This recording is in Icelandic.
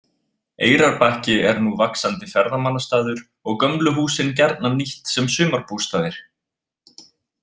Eyrarbakki er nú vaxandi ferðamannastaður og gömlu húsin gjarnan nýtt sem sumarbústaðir.